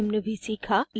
हमने निम्न भी सीखा